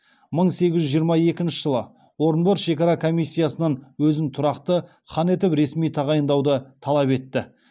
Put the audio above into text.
мың сегіз жүз жиырма екінші жылы орынбор шекара комиссиясынан өзін тұрақты хан етіп ресми тағайындауды талап етті